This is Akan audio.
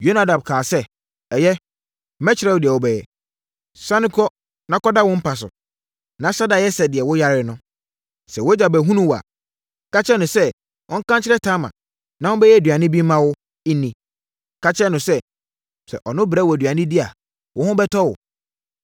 Yonadab kaa sɛ, “Ɛyɛ, mɛkyerɛ wo deɛ wobɛyɛ. Sane kɔ na kɔda wo mpa so, na hyɛ da yɛ sɛ deɛ woyare no. Sɛ wʼagya bɛhunu wo a, ka kyerɛ no sɛ ɔnka nkyerɛ Tamar, na ɔmmɛyɛ aduane bi mma wo nni. Ka kyerɛ no sɛ, sɛ ɔno brɛ wo aduane di a, wo ho bɛtɔ wo.”